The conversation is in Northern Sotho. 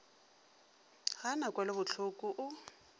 ga a na kwelobohloko o